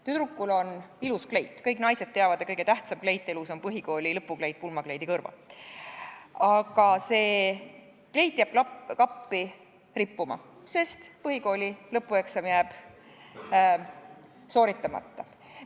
Tüdrukul on ilus kleit – kõik naised teavad, et kõige tähtsam kleit elus on põhikooli lõpukleit pulmakleidi kõrval –, aga see kleit jääb kappi rippuma, sest põhikooli lõpueksam jääb sooritamata.